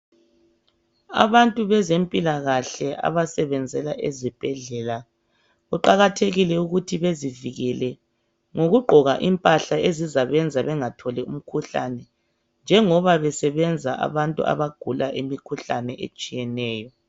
Abantu bezempilakahle abasebenzela ezibhedlela. kuqakathekile ukuthi bezivikele, ngokugqoka impahla ezizabenza bengatholi umkhuhlane, njengoba besenza abantu abagula imikhuhlane etshiyeneyo.